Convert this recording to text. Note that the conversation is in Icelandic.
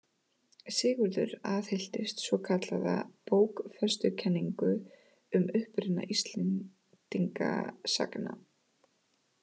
Sigurður aðhylltist svokallaða bókfestukenningu um uppruna Íslendinga sagna.